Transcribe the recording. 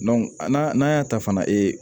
a n'a n'a y'a ta fana ee